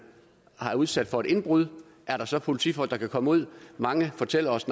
udsat for et indbrud er der så politifolk der kan komme ud mange fortæller os